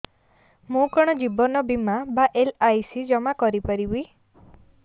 ମୁ କଣ ଜୀବନ ବୀମା ବା ଏଲ୍.ଆଇ.ସି ଜମା କରି ପାରିବି